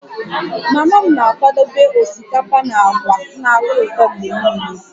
Mama m na-akwadebe osikapa na agwa na-atọ ụtọ mgbe niile